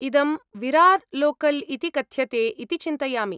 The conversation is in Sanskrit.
इदं विरार् लोकल् इति कथ्यते इति चिन्तयामि।